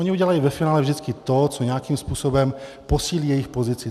Oni udělají ve finále vždycky to, co nějakým způsobem posílí jejich pozici.